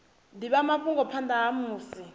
divha mafhungo phanda ha musi